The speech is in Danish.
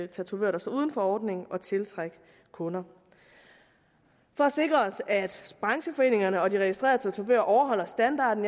tatovører der står uden for ordningen at tiltrække kunder for at sikre at brancheforeningen og de registrerede tatovører overholder standarden